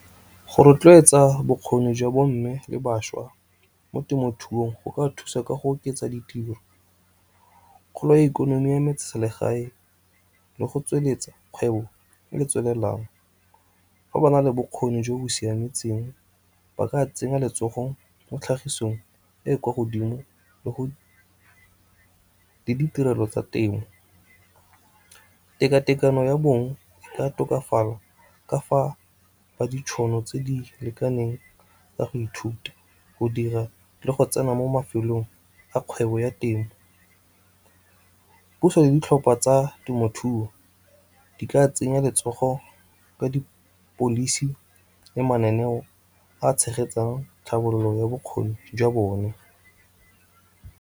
Go rotloetsa bokgoni jwa bo mme le bašwa mo temothuong go ka thusa ka go oketsa ditiro, kgolo ya ikonomi ya metseselegae, le go tsweletsa kgwebo e e tswelelang. Fa ba na le bokgoni jo bo siametseng, ba ka tsenya letsogong mo tlhagisong e e kwa godimo le ditirelo tsa temo. Tekatekano ya bong ka tokafala ka fa ba ditšhono tse di lekaneng tsa go ithuta, go dira, le go tsena mo mafelong a kgwebo ya temo. Puso le ditlhopha tsa temothuo di ka tsenya letsogo ka dipolisi le mananeo a a tshegetsang tlhabololo ya bokgoni jwa bone.